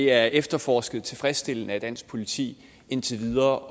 er efterforsket tilfredsstillende af dansk politi indtil videre